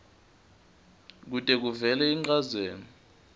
kute kuvele inchazelo